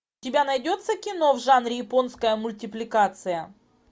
у тебя найдется кино в жанре японская мультипликация